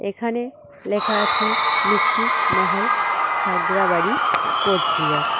এখানে লেখা আছে মিষ্টি মহল খাগড়াবাড়ি কোচবিহার।